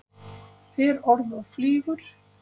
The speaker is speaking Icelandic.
Fer orð og flýgur.